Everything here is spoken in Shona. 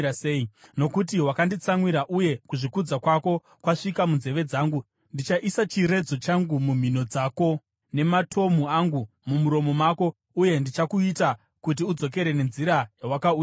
Nokuti wakanditsamwira uye kuzvikudza kwako kwasvika munzeve dzangu, ndichaisa chiredzo changu mumhino dzako, nematomhu angu mumuromo mako, uye ndichakuita kuti udzokere nenzira yawakauya nayo.’